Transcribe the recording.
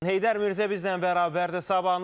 Heydər Mirzə bizimlə bərabərdir, sabahınız xeyir olsun.